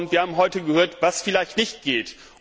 Wir haben heute gehört, was vielleicht nicht geht.